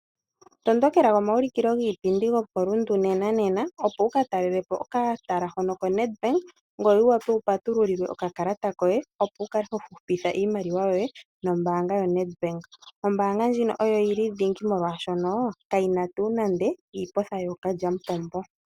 Tondokela komayulikilo giipindi gokoRundu nena nena opo wukatalelepo okatala hono koNedbank ngoye wuwape wupatululilwe oka kalata koye opo wukale hohupitha iimaliwa yoye nombaanga yaNedbank. Ombaanga ndjino oyo yili dhingi molwaashono kayina tuu nande iipotha ookalyamupombo.